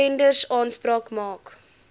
tenders aanspraak maak